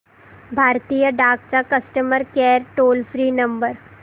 भारतीय डाक चा customer care toll free number